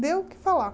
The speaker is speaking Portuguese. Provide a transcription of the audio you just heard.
Deu o que falar.